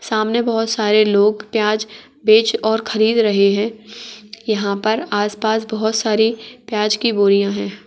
सामने बोहोत सारे लोग प्याज़ बेच और ख़रीद रहे हैं यहाँ पर आस-पास बोहोत सारी प्याज़ की बोरियाँ है।